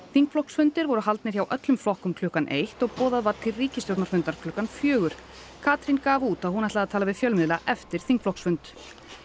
þingflokksfundir voru haldnir hjá öllum flokkum klukkan eitt og boðað var til ríkisstjórnarfundar klukkan fjögur Katrín gaf út að hún ætlaði að tala við fjölmiðla eftir þingflokksfund